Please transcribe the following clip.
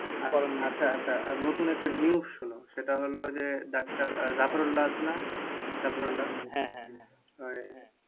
আচ্ছা আচ্ছা নতুন একটা news শোনো সেটা হলো যে ডাক্তার জাফরুল্লা আছে না? জাফরুল্লা ওই